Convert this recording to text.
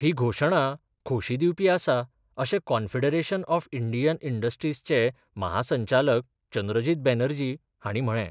ही घोषणा खोशी दिवपी आसा, अशे कॉन्फीडरेशन ऑफ इंडियन इंडस्ट्रीजचे महासंचालक चंद्रजित बॅनर्जी हाणी म्हळे.